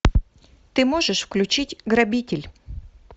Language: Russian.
ты можешь включить грабитель